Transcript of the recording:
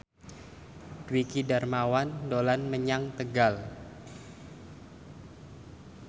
Dwiki Darmawan dolan menyang Tegal